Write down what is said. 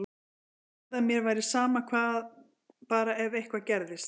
Ég sagði að mér væri sama hvað, bara ef eitthvað gerðist.